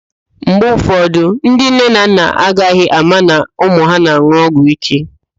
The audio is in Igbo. Mgbe ụfọdụ, ndị nne na nna agaghị ama na ụmụ ha na-an̄ụ ọgwụíké